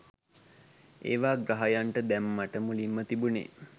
ඒවා ග්‍රහයන්ට දැම්මට මුලින්ම තිබුනේ